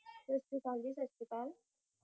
ਸਤਿ ਸ਼੍ਰੀ ਅਕਾਲ ਜੀ ਸਤਿ ਸ਼੍ਰੀ ਅਕਾਲ